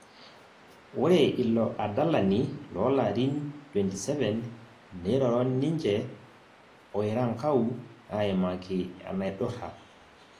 Ore ilo adalani loo larin 27, neiroro ninje oerankau aimaki enaidurra